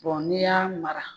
n'i y'a mara